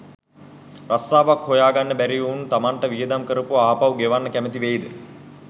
රස්සාවක් හොය ගන්න බැරි එවුන් තමන්ට වියදම් කරපුව ආපහු ගෙවන්න කැමති වෙයිද